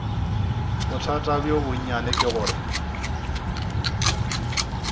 bothata bjo bonnyane ke gore